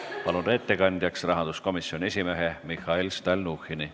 Palun ettekandjaks rahanduskomisjoni esimehe Mihhail Stalnuhhini!